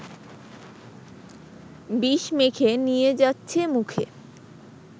বিষ মেখে নিয়ে যাচ্ছে মুখে